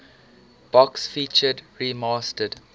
box featured remastered